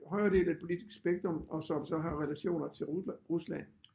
Højere del af et politisk spektrum og som så har relationer til Rusland